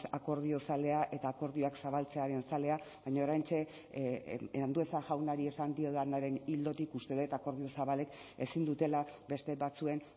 akordio zalea eta akordioak zabaltzearen zalea baina oraintxe andueza jaunari esan diodanaren ildotik uste dut akordio zabalek ezin dutela beste batzuen